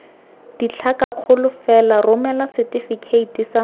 ditlhakakgolo fela romela setefikeiti sa